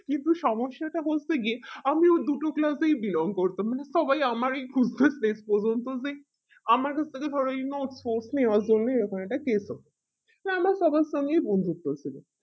কিন্তু সমস্যাটা হচ্ছে গে আমরা দুটো class এই belong করতাম মানে সবাই আমরি তো সেই আমার এই রকম একটা case করতো সেই জন্য তাদের সাথে বন্ধুক্ত হয়েছিল